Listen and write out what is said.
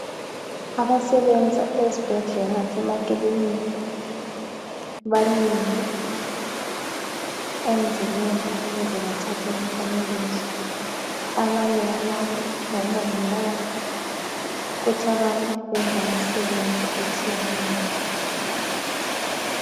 Abasebenza ezibhedlela lasemakilinika bamile emzileni ukuze bathathe umfanekiso abanye balabo ngomongikazi kuthi abanye benza imisebenzi etshiyeneyo.